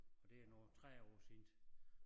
Og det er nu 30 år siden